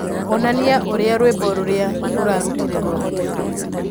onania ũrĩa rwĩmbo rũrĩa ũrarutire rwahoteka